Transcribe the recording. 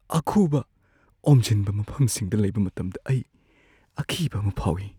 ꯑꯈꯨꯕ-ꯑꯣꯝꯖꯤꯟꯕ ꯃꯐꯝꯁꯤꯡꯗ ꯂꯩꯕ ꯃꯇꯝꯗ ꯑꯩ ꯑꯀꯤꯕ ꯑꯃ ꯐꯥꯎꯏ ꯫